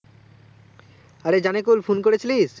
আরে জানিকুল, phone করে ছিলিস